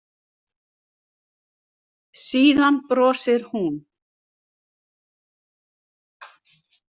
Síðan brosir hún.